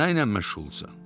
Nə ilə məşğulsan?